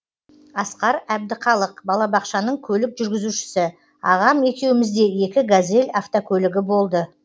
асқар әбдіқалық балабақшаның көлік жүргізушісі ағам екеумізде екі газель автокөлігі болды